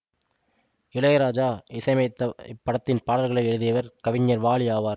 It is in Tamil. இளையராஜா இசையமைத்த இப்படத்தின் பாடல்களை எழுதியவர் கவிஞர் வாலி ஆவார்